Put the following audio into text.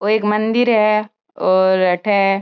ओ एक मंदिर है और अठे --